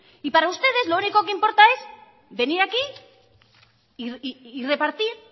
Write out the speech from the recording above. y para ustedes lo único que importa es venir aquí y repartir